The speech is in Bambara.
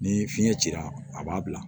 Ni fiɲɛ cira a b'a bila